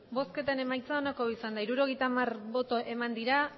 emandako botoak hirurogeita hamar bai